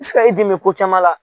bɛ se ka i dɛmɛɛ ko caman la.